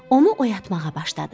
Onu oyatmağa başladı.